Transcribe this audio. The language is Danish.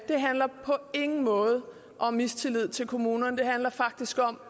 handler på ingen måde om mistillid til kommunerne det handler faktisk om at